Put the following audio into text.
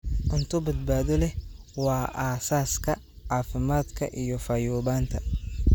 Cunto badbaado leh waa aasaaska caafimaadka iyo fayoobaanta.